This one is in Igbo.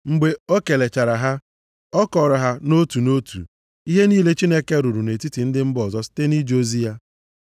Mgbe o kelechara ha, ọ kọọrọ ha nʼotu nʼotu, ihe niile Chineke rụrụ nʼetiti ndị mba ọzọ site nʼije ozi ya.